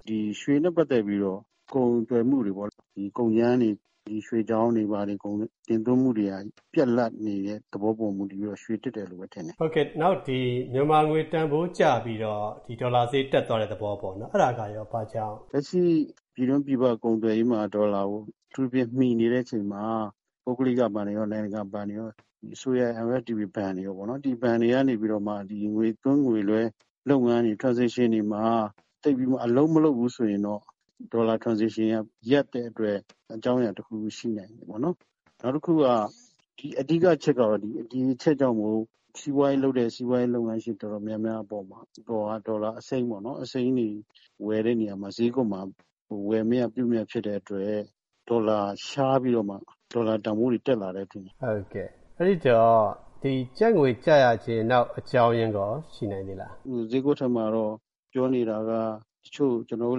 “ဒီ ရွှေနဲ့ ပတ်သက်ပြီးတော့ ကုန်သွယ်မှုတွေပေါ့နော် ၊ ရွှေချောင်းတွေ တင်သွင်းမှုတွေက ပြတ်လပ်နေတဲ့ သဘောပေါ်မှာ မူတည်ပြီးတော့ ရွေတက်တယ်လို့ထင်တယ်။” ဟုတ်ကဲ့ မြန်မာငွေတန်ဖိုးကျပြီးတော့ ဒီ ဒေါ်လာဈေး တက်သွားတဲ့ သဘောပေါ့နော်။ အဲဒါကရော ဘာကြောင့်လဲ။ လက်ရှိ ပြည်တွင်းပြည်ပ ကုန်သွယ်ရေးမှာ အထူးသဖြင့် ဒေါ်လာကို မှီနေတဲ့အချိန်မှာ ပုဂလိက ဘဏ်တွေရော၊ နိုင်ငံတကာဘဏ်တွေရော၊ အစိုးရရဲ့ MFTB တွေရော၊ ဒီ ဘဏ်တွေကမှ ငွေသွင်း ၊ ငွေလွဲ လုပ်ငန်းတွေ ဒီ Transaction မှာ သိပ်ပြီးတော့ အလုပ်မလုပ်ဘူးဆိုရင်တော့ ဒေါ်လာ Transaction က ရပ်တဲ့အတွက် အကြောင်းအရာတခုခု ရှိနိုင်တယ်ပေါ့နော်။ နောက်တခုက အဓိကအချက်ကတော့ ဒီအချက်ကြောင့်မို့ စီးပွားရေးလုပ်တဲ့ စီးပွားရေးလုပ်ငန်းရှင် တော်တော်များများအပေါ်မှာ ဒေါ်လာအစိမ်းတွေပေါ့နော် ဝယ်တဲ့နေရာမှာ ဈေးကွက်မှာ ဝယ်မရ ၊ ပြုမရဖြစ်တဲ့အတွက် ဒေါ်လာ ရှားပြီးတော့မှ ဒေါ်လာတန်ဖိုးတွေ တက်တယ်ထင်တယ်။ ဟုတ်ကဲ့ အဲဒီတော့ ကျပ်ငွေတန်ဖိုးကျရခြင်း နောက်အကြောင်းအရင်းရော ရှိနိုင်သေးလား။ ဈေးကွက်ထဲမှာတော့ ပြောနေတာက တချို့ ကျနော်တို့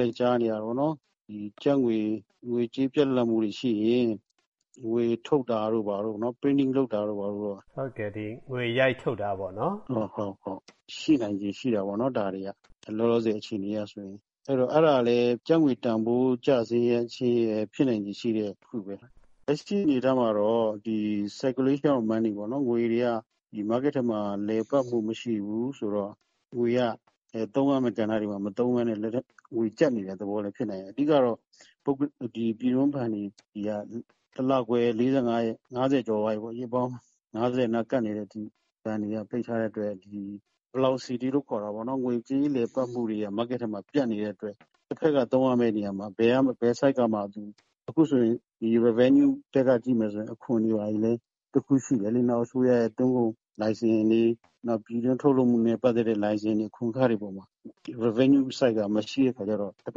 လည်း ကြားနေရတာပေါ့နော် ကျပ်ငွေ ၊ ငွေကြေး ပြတ်လပ်မူတွေရှိရင် ငွေထုတ်တာတို့ဘာတို့ပေါ့ Printing လုပ်တာတို့ ဘာတို့ပေါ့။ ဟုတ်ကဲ့ ငွေရိုက်ထုတ်တာေပေါ့နာ်။ ဟုတ်၊ ဒါတွေက ရှိနိုင်ခြေရှိတာပေါ့နော် လောလောဆည် အခြေအနေအရဆိုရင်။ အဲဒါလည်း ကျပ်ငွေတန်ဖိုး ကျဆင်းရခြင်းရဲ့ ဖြစ်နိုင်ခြေရှိတဲ့ တခုပဲ။ လက်ရှိအနေအထားမှာတော့ Circulation of Money ပေါ့နော် ငွေတွေက Market ထဲမှာ လည်ပတ်မှု မရှိဘူးဆိုတော့ ငွေတွေက သုံးရမယ့် ကဏ္ဍတွေမှာ မသုံးပဲနဲ့ လက်ထဲမှာ၊ ငွေကြပ်နေတဲ့ သဘောလဲ ဖြစ်နိုင်တယ်။ အဓိကတော့ ပြည်တွင်း ဘဏ်တွေက တလခွဲ ၄၅ ရက်- ၅၀ ကျော် သွားပြီပေါ့နော်၊ ရက်ပိုင်း ၅၀ နားအထိ ဘဏ်တွေက ပိတ်ထားတဲ့အတွက် Velocity လို့ခေါ်တာပေါ့နော် ငွေကြေးလည်ပတ်မှုတွေက Market ထဲမှာ ပြတ်နေတဲ့အတွက်၊ တဖက်က သုံးရမယ့်နေရာမှာ ဘယ်ဆိုဒ် မှ၊ အခုဆိုရင် ဒီ Revenue ဘက်က ကြည့်မယ်ဆိုရင်လည်း အခွန်တွေလည်း တခုရှိတယ်လေ။ နောက်အစိုးရရဲ့ သွင်းကုန်လိုင်စင်တွေ နောက် ပြည်တွင်းထုတ်လုပ်မှုနဲ့ ပတ်သက်တဲ့ လိုင်စင်တွေ အခွန်ခတွေအပေါ်မှာ ဒီ Revenue ဆိုဒ်က မရှိတဲ့အခါကျတော့၊ တဖ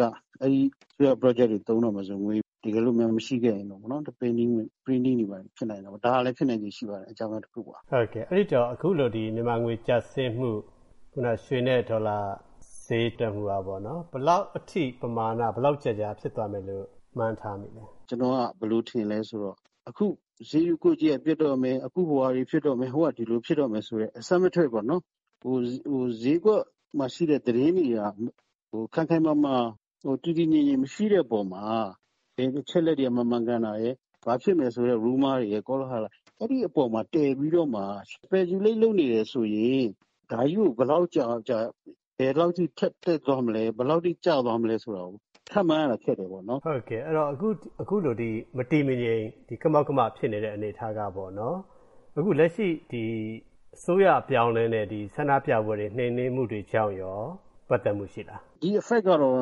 က်က အဲဒီ Project တွေသုံးတော့မယ်ဆိုရင် ငွေတကယ်လို့များ မရှိခဲ့ရင်ပေ့ါနော်၊ Printing တွေဖြစ်နိုင်တာပေါ့နော်။ ဒါကလည်း ဖြစ်နိုင်ခြေရှိတဲ့ အကြောင်းအရာတခုပါ။ ဟုတ်ကဲ့ အဲဒီတော့ အခုလို မြန်မာငွေ ကျဆင်းမှု၊ ခုနက ရွှေနဲ့ ဒေါ်လာ ဈေးတက်မှုကပေါ့နော် ဘယ်လောက်အထိ ပမာဏ ဘယ်လောက်ကြာကြာဖြစ်သွားမယ်လို့ မှန်းထားသလဲ။ ကျနော်က ဘယ်လိုထင်သလဲဆိုတော့ အခု ဈေးကွက်ကြီးက ပျက်တော့မယ်၊ အခု ဟိုဝါတွေ ဖြစ်တော့မယ်၊ ဟိုက ဒီလိုတွေ ဖြစ်တော့မယ်ဆိုတဲ့ Assumption ပေါ့နော်၊ ဈေးကွက်မှာ ရှိတဲ့ သတင်းတွေက ခိုင်ခိုင်မာမာ တည်တည်ငြိမ်ငြိမ် မရှိတဲ့အပေါ်မှာ၊ ဘယ်အချက်အလက်တွေက မမှန်ကန်တာရယ်၊ ဘာဖြစ်မယ်ဆိုတဲ့ Rumor တွေ ကောလဟာလတွေ အဲဒီအပေါ်မှာ တည်ပြီးတော့မှာ Speculate လုပ်နေတယ်ဆိုရင်၊ ဒါကြီးကို ဘယ်လောက်ကြာကြာ ဘယ်လောက်အထိ ထပ်တက်သွားမယ်၊ ကျသွားမလဲ ဆိုတာကို ခန့်မှန်းရတာ ခက်တယ်ပေါ့နော်။ အခုလို မတည်မငြိမ် ကမောက်ကမဖြစ်နေတဲ့ အနေအထားကေပေါ့နာ်၊ အခုလက်ရှိ အစိုးရအပြောင်းအလဲနဲ့ ဆန္ဒပြပွဲတွေ နှိမ်နင်းမှုတွေကြောင့်ရော ပတ်သက်မှုရှိလား။ ဒီ Effect ကတော့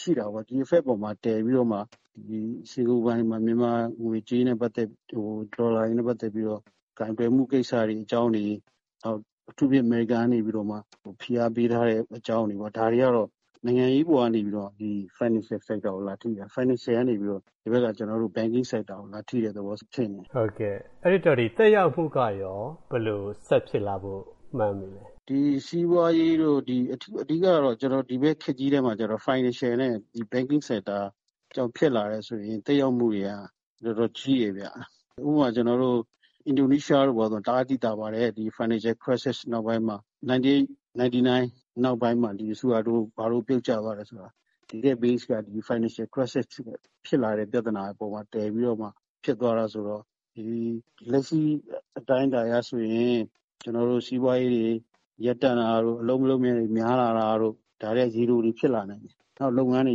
ရှိတာပေါ့။ ဒီ Effect ပေါ်မှာ တည်ပြီးတော့မှ စင်္ကာဘူဘဏ်တွေမှာ မြန်မာငွေကြေးနဲ့ ပတ်သက်ပြီးတော့ ဒေါ်လာတွေနဲ့ ပတ်သက်ပြီးတော့၊ ကိုင်တွယ်မှု ကိစ္စတွေ အကြောင်းတွေ၊ နောက် အထူးသဖြင့် အမေရိကန်ကနေပြီးတော့မှ ဖိအားပေးထားတဲ့ အကြောင်းတွေ၊ ဒါတွေကတော့ နိုင်ငံရေး အပေါ်ကနေပြီးတော့ Financial Sector ကို လာထိတာ။ Financial ကနေပြီးတော့ ကျနော်တို့ Banking Sector ကို လာထိတဲ့သဘောဖြစ်နေတယ်။ အဲဒီတော့ သက်ရောက်မှုကရော ဘယ်လို ဆက်ဖြစ်လာဖို့ မှန်းသလဲ။ ဒီစီးပွားရေးတို့ အဓိကတော့ ဒီဘက်ခေတ်ကြီးထဲမှာတော့ Financial နဲ့ Banking Sector ကြောင့် ဖြစ်လာတယ်ဆိုရင်၊ ဒီသက်ရောက်မှုတွေက တော်တော်ကြီးတယ်ခင်ဗျ။ ဥပမာ ကျနော်တို့ အင်ဒိုနီးရှားတို့ ဆိုရင် တအားသိသာပါတယ် ဒီ Financial Crisis နောက်ပိုင်းမှာ ၉၈-၉၉ နောက်ပိုင်းမှာ၊ ဆူဟာတို တို့ ဘာတို့ ပြုတ်ကျသွားတယ်ဆိုတာ၊ တကယ့် Base က၊ ဒီ Financial Crisis ဖြစ်လာတဲ့ ပြဿနာပေါ်မှာ တည်ပြီးတော့မှ ဖြစ်သွားတာဆိုတော့၊ လက်ရှိ အတိုင်းအတာအရဆိုရင် ကျနော်တို့ စီးပွားရေးတွေ ရပ်တန့်တာတို့ ၊ အလုပ်လက်မဲ့တွေ များလာတာတို့၊ ဒါတွေက ရေတိုမှာ ဖြစ်လာနိုင်တယ်။ နောက်လုပ်ငန်းတွေ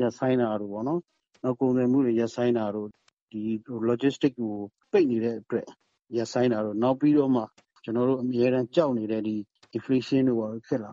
ရပ်ဆိုင်းတာတို့ပေါ့နော်၊ ကုန်သွယ်မှုတွေ ရပ်ဆိုင်းတာတို့ ဒီ Logistic ပိတ်နေတဲ့အတွက် ရပ်ဆိုင်းတာတို့၊ နောက်ပြီးတော့မှ ကျနော်တို့ အမြဲတမ်း ကြောက်နေတဲ့ Inflation တို့ ဘာတို့ ဖြစ်လာ